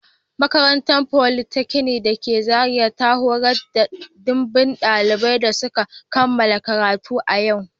Makarantar politeknik da ke Zaria ta horar da dimbin daliban da suka kammala karatu a yau